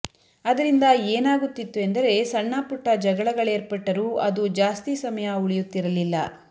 ಅದರಿಂದ ಏನಾಗುತ್ತಿತ್ತು ಎಂದರೆ ಸಣ್ಣ ಪುಟ್ಟ ಜಗಳಗಳೇರ್ಪಟ್ಟರೂ ಅದು ಜಾಸ್ತಿ ಸಮಯ ಉಳಿಯುತ್ತಿರಲ್ಲಿಲ್ಲ